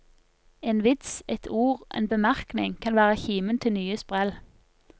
En vits, et ord, en bemerkning kan være kimen til nye sprell.